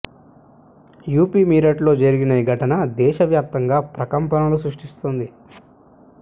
UP Meerut లో జరిగిన ఈ ఘటన దేశవ్యాపంగా ప్రకంపనలు సృష్టిస్తోంది